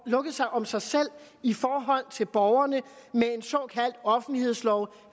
lukket sig om sig selv i forhold til borgerne med en såkaldt offentlighedslov